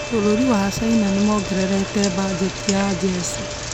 bũrũri wa China nĩmongerete bajeti ya jesi